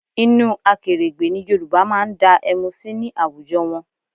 Inú akèrègbè ni Yorùbá máa ń dá ẹmu sí ní àwùjọ wọn